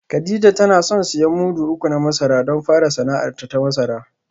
Kadija tana son siyan mudu uku na masara don fara sana’arta ta masara